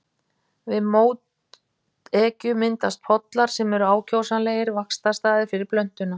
Við mótekju myndast pollar sem eru ákjósanlegir vaxtarstaðir fyrir plöntuna.